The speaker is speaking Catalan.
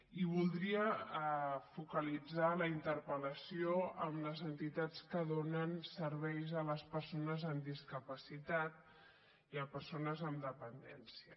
i voldria focalitzar la interpellació en les entitats que donen serveis a les persones amb discapacitat i a persones amb dependència